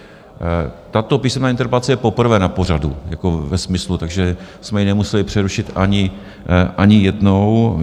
Tato písemná interpelace je poprvé na pořadu jako ve smyslu, takže jsme ji nemuseli přerušit ani jednou.